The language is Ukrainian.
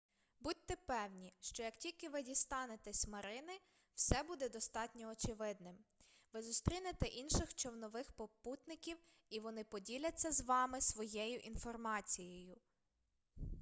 будьте певні що як тільки ви дістанетесь марини все буде достатньо очевидним ви зустрінете інших човнових попутників і вони поділяться з вами своєю інформацією